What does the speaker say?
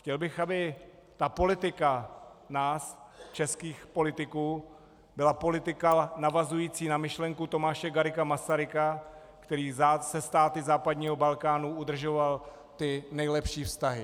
Chtěl bych, aby ta politika nás, českých politiků, byla politika navazující na myšlenku Tomáše Garrigua Masaryka, který se státy západního Balkánu udržoval ty nejlepší vztahy.